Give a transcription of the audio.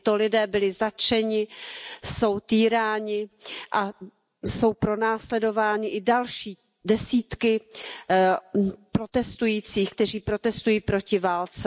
Tito lidé byli zatčeni, jsou týráni a jsou pronásledovány i další desítky protestujících, kteří protestují proti válce.